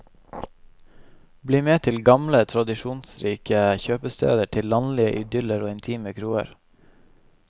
Bli med til gamle, tradisjonsrike kjøpsteder, til landlige idyller og intime kroer.